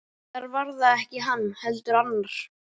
Eða reyndar var það ekki hann, heldur annar.